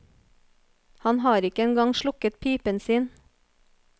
Han har ikke en gang slukket pipen sin.